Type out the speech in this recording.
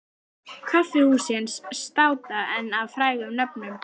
Kaffihúsin státa enn af frægum nöfnum.